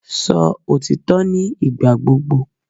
Sọ òtítọ́ ní ìgbà gbogbo!